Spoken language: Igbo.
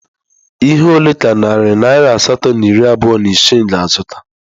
Ihe ole ka narị naira asatọ na iri abụọ na isii ga-azụta??